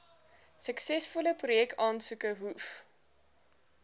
suksesvolle projekaansoeke hoef